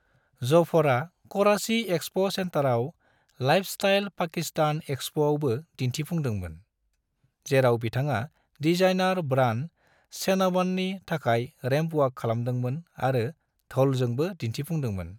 जफरा Karachi expo सेंटराव lifestyle Pakistan एक्सपोआवबो दिन्थिफुंदोंमोन, जेराव बिथाङा डिजाइनर ब्रांड चेनवननि थाखाय रैंप वॉक खालामदोंमोन आरो ढोलजोंबो दिन्थिफुंदोंमोन।